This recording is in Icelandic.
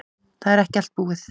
Það er ekki allt búið.